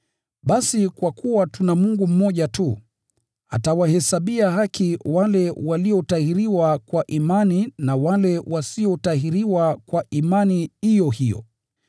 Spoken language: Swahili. Basi kwa kuwa tuna Mungu mmoja tu, atawahesabia haki wale waliotahiriwa kwa imani na wale wasiotahiriwa kwa imani iyo hiyo.